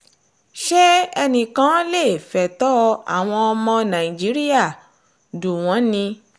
ṣé enìkan lè fẹ̀tọ́ àwọn ọmọ nàìjíríà dù wọ́n ni